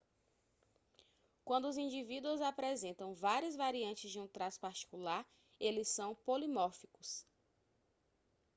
quando os indivíduos apresentam várias variantes de um traço particular eles são polimórficos